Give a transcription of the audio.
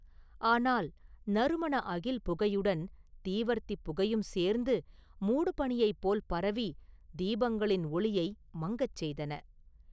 ஆனால் நறுமண அகில் புகையுடன் தீவர்த்திப் புகையும் சேர்ந்து, மூடுபனியைப் போல் பரவி, தீபங்களின் ஒளியை மங்கச் செய்தன.